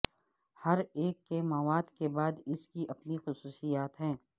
ہر ایک کے مواد کے بعد اس کی اپنی خصوصیات ہیں